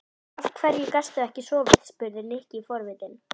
Af hverju gastu ekki sofið? spurði Nikki forvitinn.